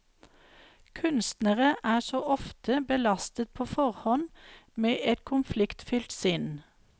Kunstnere er så ofte belastet på forhånd med et konfliktfylt sinn.